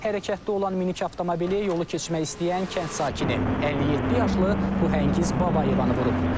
Hərəkətdə olan minik avtomobili yolu keçmək istəyən kənd sakini, 57 yaşlı Bəhəngiz Babayevanı vurub.